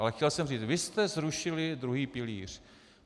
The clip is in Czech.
Ale chtěl jsem říct, vy jste zrušili druhý pilíř.